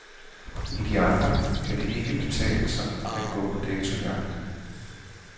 I de andre kan det ikke betale sig at gå på datojagt.